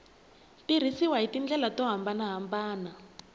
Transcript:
tirhisiwa hi tindlela to hambanahambana